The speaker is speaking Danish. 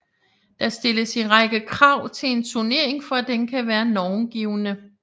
Der stilles en række krav til en turnering for at den kan være normgivende